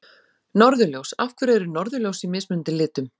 Norðurljós Af hverju eru norðurljós í mismunandi litum?